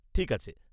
ঠিক আছে!